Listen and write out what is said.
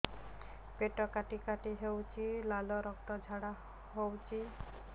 ପେଟ କାଟି କାଟି ହେଉଛି ଲାଳ ରକ୍ତ ଝାଡା ହେଉଛି